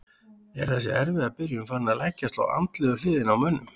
Er þessi erfiða byrjun farin að leggjast á andlegu hliðina á mönnum?